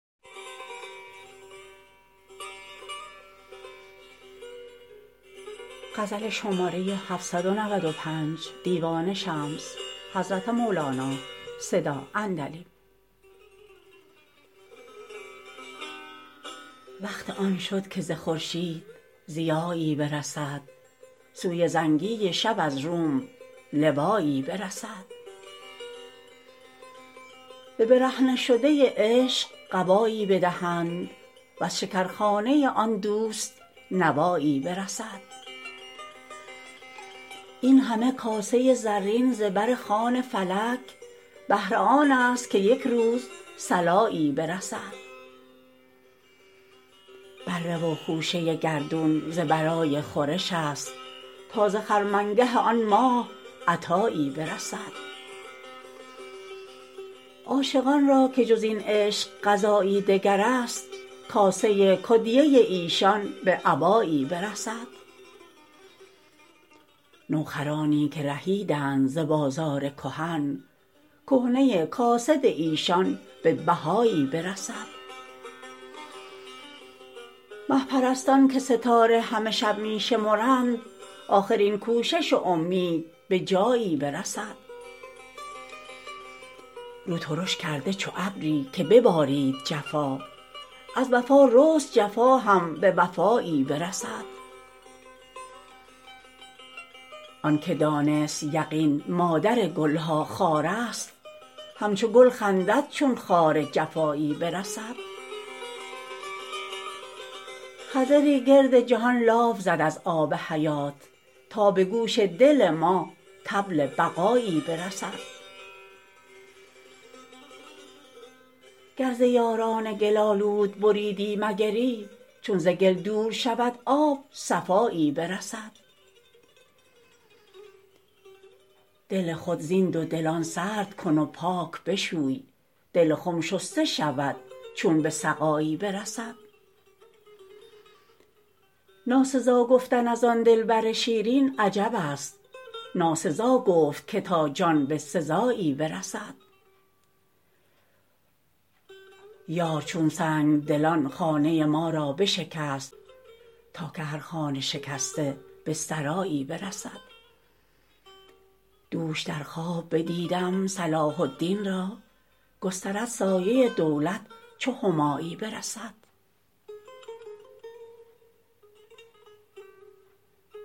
وقت آن شد که ز خورشید ضیایی برسد سوی زنگی شب از روم لوایی برسد به برهنه شده عشق قبایی بدهند وز شکرخانه آن دوست نوایی برسد این همه کاسه زرین ز بر خوان فلک بهر آنست که یک روز صلایی برسد بره و خوشه گردون ز برای خورش است تا ز خرمنگه آن ماه عطایی برسد عاشقان را که جز این عشق غذایی دگرست کاسه کدیه ایشان به ابایی برسد نوخرانی که رهیدند ز بازار کهن کهنه کاسد ایشان به بهایی برسد مه پرستان که ستاره همه شب می شمرند آخر این کوشش و اومید به جایی برسد رو ترش کرده چو ابری که ببارید جفا از وفا رست جفا هم به وفایی برسد آنک دانست یقین مادر گل ها خارست همچو گل خندد چون خار جفایی برسد خضری گرد جهان لاف زد از آب حیات تا به گوش دل ما طبل بقایی برسد گر ز یاران گل آلود بریدی مگری چون ز گل دور شود آب صفایی برسد دل خود زین دودلان سرد کن و پاک بشوی دل خم شسته شود چون به سقایی برسد ناسزا گفتن از آن دلبر شیرین عجبست ناسزا گفت که تا جان به سزایی برسد یار چون سنگ دلان خانه ما را بشکست تا که هر خانه شکسته به سرایی برسد دوش در خواب بدیدم صلاح الدین را گسترد سایه دولت چو همایی برسد